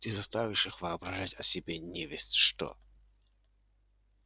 ты заставишь их воображать о себе невесть что